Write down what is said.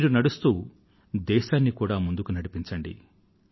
మీరు నడుస్తూ దేశాన్ని కూడా ముందుకు నడిపించండి